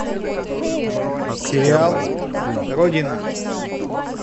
сериал родина